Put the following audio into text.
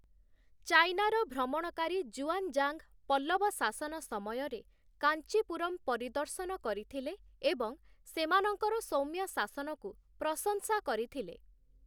ଚାଇନାର ଭ୍ରମଣକାରୀ 'ଜୁଆଞ୍ଜାଙ୍ଗ' ପଲ୍ଲବ ଶାସନ ସମୟରେ କାଞ୍ଚିପୁରମ୍‌ ପରିଦର୍ଶନ କରିଥିଲେ ଏବଂ ସେମାନଙ୍କର ସୌମ୍ୟ ଶାସନକୁ ପ୍ରଶଂସା କରିଥିଲେ ।